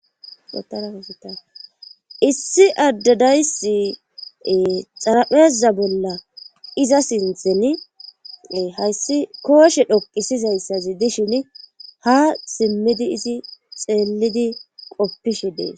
issi addadaysi xarapheeza bolla iza sinthen hayssi kooshe dhoqisizayssazi dishin ha simmidi izi xeellidi qoppishe dees